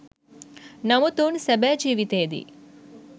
නමුත් ඔවුන් සැබෑ ජීවිතයේදී